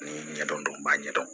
Ni ɲɛdɔn b'a ɲɛ dɔn